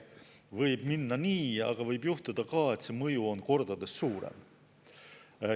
Võib minna nii, aga võib juhtuda ka, et see mõju on kordades suurem.